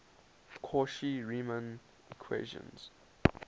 cauchy riemann equations